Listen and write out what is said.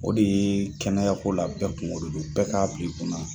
O de ye kɛnɛyako la bɛɛ kun de don bɛɛ k'a bili kunna.